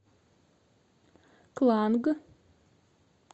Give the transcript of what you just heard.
кланг